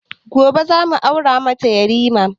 Gobe za mu aura mata yarima